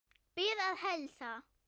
Bið að heilsa.